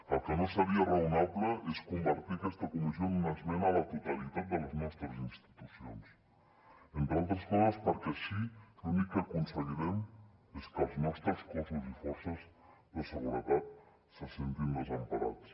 el que no seria raonable és convertir aquesta comissió en una esmena a la totalitat de les nostres institucions entre altres coses perquè així l’únic que aconseguirem és que els nostres cossos i forces de seguretat se sentin desemparats